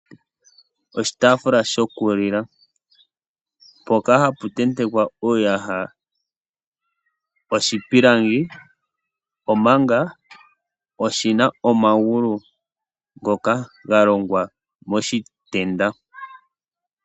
Oshitafula shoku lila mpoka hapu tentekwa uuyaha oshipilangi ,omanga oshina omagulu ngoka ga longwa moshitenda.